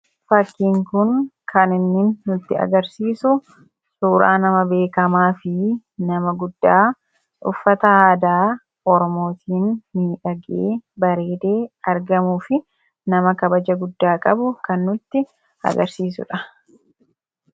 Fakkiin kun kan inni nutti agarsiisu suuraa nama beekamaa fi nama guddaa uffata aadaa oromootiin miidhagee bareedee argamuu fi nama kabaja guddaa qabu kan nutti agarsiisudha.